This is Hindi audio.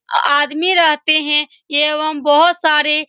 आ आदमी रहते हैं एवं बहुत सारे --